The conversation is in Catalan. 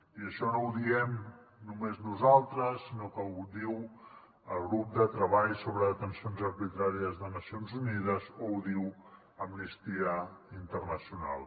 i això no ho diem només nosaltres sinó que ho diu el grup de treball sobre detencions arbitràries de nacions unides o ho diu amnistia internacional